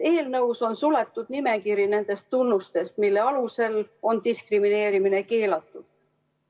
Eelnõus on suletud nimekiri nendest tunnustest, mille alusel on diskrimineerimine keelatud.